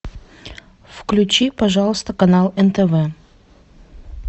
включи пожалуйста канал нтв